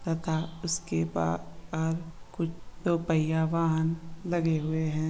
तथा उसके बा - आद कुछ दो पहिया वाहन लगे हुए है।